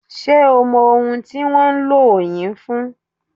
Ṣé o mọ ohun tí wọ́n ń lo òù yìí fún?